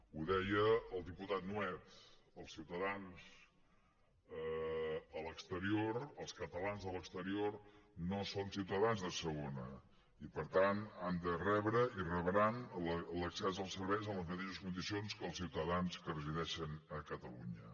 ho deia el diputat nuet els ciutadans a l’exterior els catalans a l’exterior no són ciutadans de segona i per tant han de rebre i rebran l’accés als serveis en les mateixes condicions que els ciutadans que resideixen a catalunya